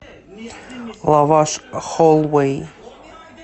лаваш холлвэй